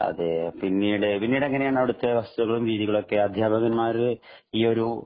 അതേ. പിന്നീട് എങ്ങനെയാണു അവിടത്തെ വസ്തുതകളും രീതികളുമൊക്കെ അധ്യാപകന്മാര് ഈ ഒരു